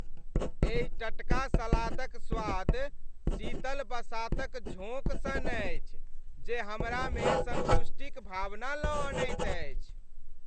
एहि टटका सलादक स्वाद शीतल बसातक झोंक सन अछि जे हमरामे सन्तुष्टिक भावना लऽ अनैत अछि।